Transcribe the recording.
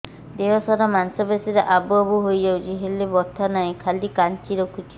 ଦେହ ସାରା ମାଂସ ପେଷି ରେ ଆବୁ ଆବୁ ହୋଇଯାଇଛି ହେଲେ ବଥା ନାହିଁ ଖାଲି କାଞ୍ଚି ରଖୁଛି